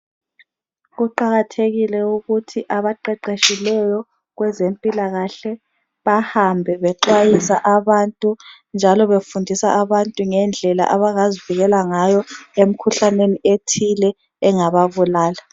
Kuqakathekile ukuthi abaqeqetshileyo kwezempilakahle bahambe bexhwayisa abantu njalo befundisa abantu ngendlela abangazivikela ngayo emkhuhlaneni ethile engababulala.